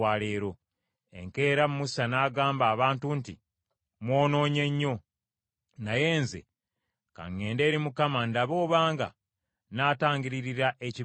Enkeera Musa n’agamba abantu nti, “Mwonoonye nnyo. Naye nze ka ŋŋende eri Mukama ndabe obanga nnaatangiririra ekibi kyammwe.”